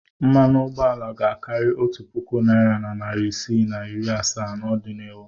Mmanụ ụgbọala ga-akarị otu puku naịra na narị isii na iri asaa n'ọdịnihu.